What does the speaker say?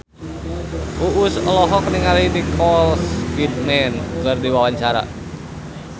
Uus olohok ningali Nicole Kidman keur diwawancara